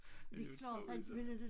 Det klart han ville inte